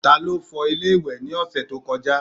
Ta ló fọ ilé ìwẹ̀ ní ọ̀sẹ̀ tó kọjá?